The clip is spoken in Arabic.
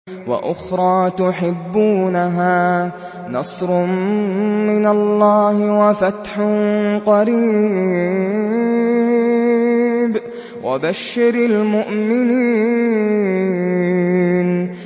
وَأُخْرَىٰ تُحِبُّونَهَا ۖ نَصْرٌ مِّنَ اللَّهِ وَفَتْحٌ قَرِيبٌ ۗ وَبَشِّرِ الْمُؤْمِنِينَ